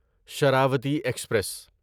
Sharavathi express